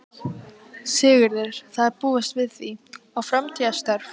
Sigurður: Það er búist við því, í framtíðarstörf?